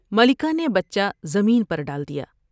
ملکہ نے بچہ زمین پر ڈال دیا ۔